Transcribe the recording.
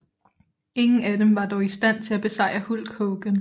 Ingen af dem var dog i stand til at besejre Hulk Hogan